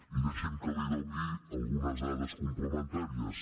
i deixi’m que li doni algunes dades complementà ries